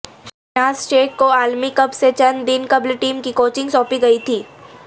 شہناز شیخ کو عالمی کپ سے چند دن قبل ٹیم کی کوچنگ سونپی گئی تھی